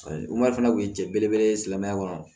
fana kun ye cɛ belebele ye silamɛya kɔnɔ